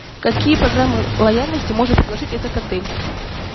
какие программы лояльности может предложить этот отель